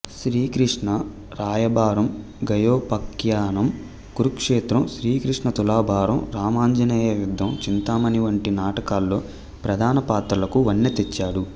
శ్రీకృష్ణ రాయబారం గయోపాఖ్యానం కురుక్షేత్రం శ్రీకృష్ణ తులాభారం రామాంజనేయయుద్ధం చింతామణి వంటి నాటకాల్లో ప్రధానపాత్రలకు వన్నెతెచ్చాడు